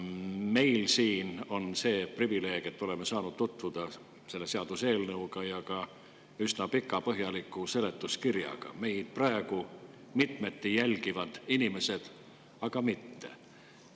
Meil siin on see privileeg, et oleme saanud tutvuda selle seaduseelnõuga ning ka üsna pika ja põhjaliku seletuskirjaga, meid praegu mitmeti jälgivad inimesed aga mitte.